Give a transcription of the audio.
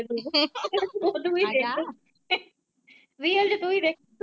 Real ਚ ਤੁਹੀਂ ਦਿੱਖ।